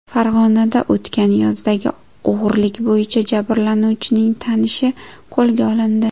Farg‘onada o‘tgan yozdagi o‘g‘rilik bo‘yicha jabrlanuvchining tanishi qo‘lga olindi.